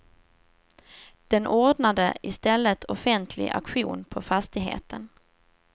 Den ordnade i stället offentlig auktion på fastigheten.